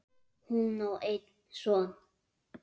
Hún á einn son.